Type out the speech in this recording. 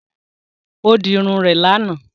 Ó di Irun rè lànà